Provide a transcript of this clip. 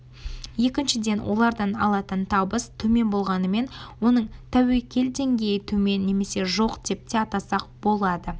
екіншіден олардан алатын табыс төмен болғанымен оның тәуекел деңгейі төмен немесе жоқ деп те атасақ болады